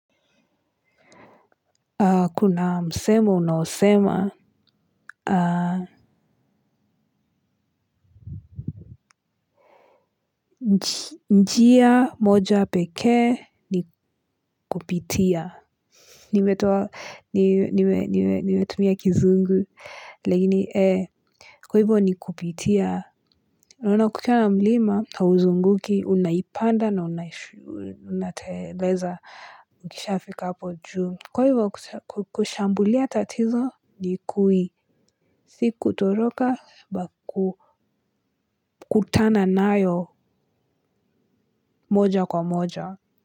Kuna msemo unaosema. Njia moja peke ni kupitia. Nimetumia nimetumia kizungu lakini ee. Kwa hivyo ni kupitia unaona kukiwa na mlima hauzunguki unaipanda na unateleza ukishaa fika hapo juu. Kwa hivyo kushambulia tatizo Nikui si kutoloka kukutana nayo moja kwa moja.